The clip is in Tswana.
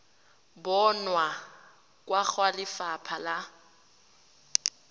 bonwa kwa go lefapha la